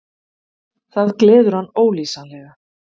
Það gleður hann ólýsanlega.